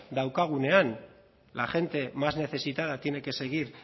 daukagunean la gente más necesitada tiene que seguir